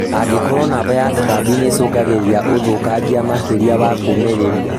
Angĩkorwo namba ya tũtambi nĩcũngagĩrĩra ũthũkangia makĩria ya kũmĩrĩrĩria